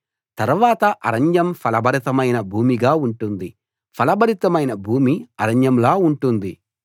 తర్వాత అరణ్యం ఫలభరితమైన భూమిగా ఉంటుంది ఫలభరితమైన భూమి అరణ్యంలా ఉంటుంది